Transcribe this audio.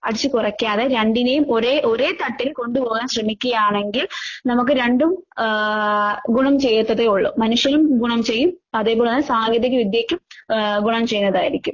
അടിച്ച് കൊറയ്ക്കാതെ രണ്ടിനേം ഒരേ ഒരേ തട്ടിൽ കൊണ്ടുപോകാൻ ശ്രമിക്കുവാണെങ്കിൽ നമുക്ക് രണ്ടും ആഹ് ഗുണം ചെയ്യത്തതേ ഒള്ളൂ. മനുഷ്യനും ഗുണം ചെയ്യും അതേപോലെ തന്നെ സാങ്കേതിക വിദ്യയ്ക്കും ആഹ് ഗുണം ചെയ്യുന്നതായിരിക്കും.